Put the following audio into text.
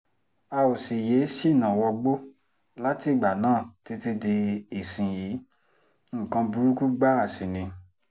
a ò sì yéé ṣínà wọgbó látìgbà náà títí di ìsinyìí nǹkan burúkú gbáà sí ni